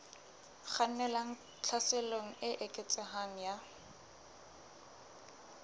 kgannelang tlhaselong e eketsehang ya